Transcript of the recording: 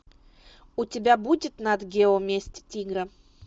у тебя будет нат гео месть тигра